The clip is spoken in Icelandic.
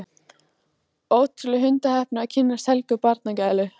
Ótrúleg hundaheppni að kynnast Helgu barnagælu.